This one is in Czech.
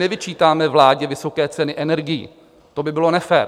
Nevyčítáme vládě vysoké ceny energií, to by bylo nefér.